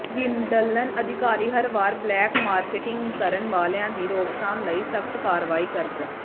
Wimbledon ਅਧਿਕਾਰੀ ਹਰ ਵਾਰ ਬਲੈਕ ਮਾਰਕੇਟਿੰਗ ਕਰਨ ਵਾਲਿਆਂ ਦੀ ਰੋਕਥਾਮ ਲਈ ਸਖਤ ਕਾਰਵਾਈ ਕਰਦ